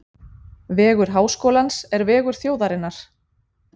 Vegur Háskólans er vegur þjóðarinnar.